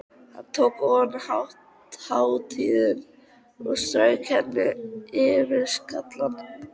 Hann tók ofan hattinn og strauk hendinni yfir skallann.